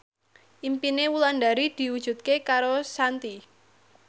impine Wulandari diwujudke karo Shanti